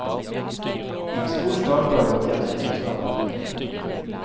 En stor skaper har gått hjem til sin skaper.